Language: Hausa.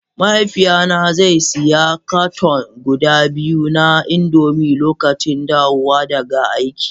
mahaifina zai sayi cartoon guda biyu na indomie lokacin dawowa daga aiki